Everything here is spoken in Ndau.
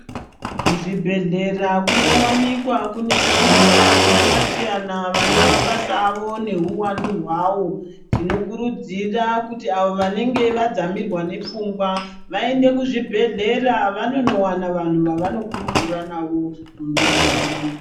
Kuzvibhedhlera kunowanikwa kune vanthu vakasiyana siyana vane mabasa avo neuwandu hwavo tinokurudzira kuti avo vanenge vadzamirwa nepfungwa vaende kuzvibhedhlera vanonowana vanhu vavanokurukura navo nyaya dzavo.